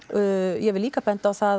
ég vil líka benda á það